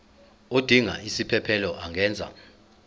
odinga isiphesphelo angenza